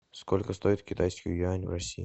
сколько стоит китайский юань в россии